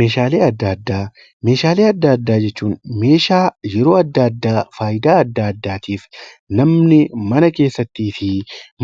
Meeshaalee adda addaa jechuun meeshaa yeroo adda addaa fayidaa adda addaatiif namni mana keessatti fi